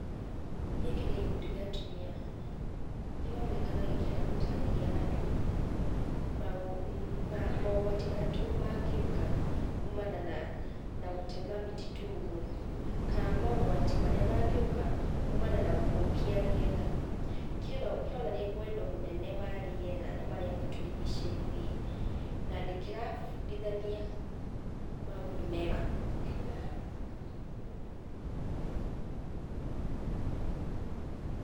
Gĩkĩ nĩ gĩkundi gĩa atumia. Kĩronekana gĩkĩenda gũtarĩria andũ, mogwati marĩa mangĩũka kumana na gũtema mĩtitũ ũguo, kana mogwati marĩa mangĩũka kumana na gũthũkia rĩera. Kĩronania wendo mũnene wa rĩera na marĩa matũrigicĩirie, na nĩ kĩrabudithania maũndũ mega .